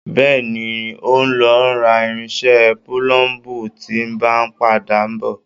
Bẹ́ẹ̀ni, n o lọ rà irinṣẹ́ púlúmbu tí n bá n padà bọ.